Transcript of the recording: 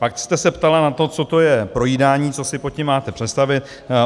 Pak jste se ptala na to, co to je projídání, co si pod tím máte představit.